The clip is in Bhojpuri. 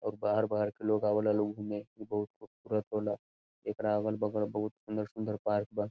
और बाहर-बाहर के लोग आवला लोग घूमे इ बहुत खूबसूरत होला एकरा अलग-बगल बहुत सुंदर-सुंदर पार्क बा।